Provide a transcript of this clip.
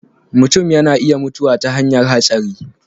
mutum ya na iya mutuwa ta hanyan hatsari